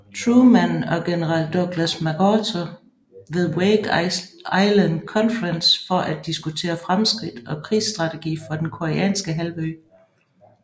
Truman og general Douglas MacArthur ved Wake Island Conference for at diskutere fremskridt og krigsstrategi for den koreanske halvø